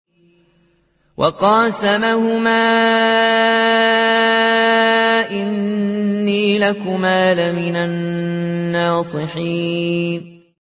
وَقَاسَمَهُمَا إِنِّي لَكُمَا لَمِنَ النَّاصِحِينَ